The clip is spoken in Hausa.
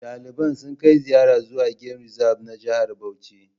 Daliban sun kai ziyarar zuwa gem rizab na Jihar Bauchi